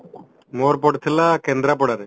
ମୋର ପଡିଥିଲା କେନ୍ଦ୍ରାପଡାରେ